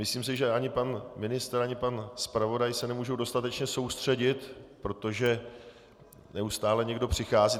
Myslím si, že ani pan ministr ani pan zpravodaj se nemůžou dostatečně soustředit, protože neustále někdo přichází.